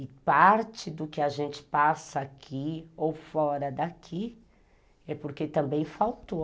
E parte do que a gente passa aqui ou fora daqui é porque também faltou.